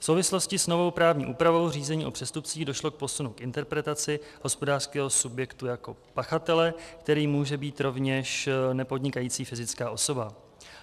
V souvislosti s novou právní úpravou řízení o přestupcích došlo k posunu v interpretaci hospodářského subjektu jako pachatele, kterým může být rovněž nepodnikající fyzická osoba.